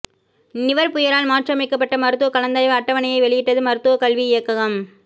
நிவர் புயலால் மாற்றி அமைக்கப்பட்ட மருத்துவ கலந்தாய்வு அட்டவணையை வெளியிட்டது மருத்துவக்கல்வி இயக்ககம்